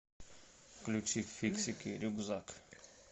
включи фиксики рюкзак